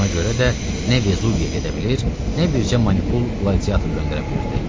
Buna görə də nə Vezuviyə gedə bilir, nə bircə manipul qladiator göndərə bilirdi.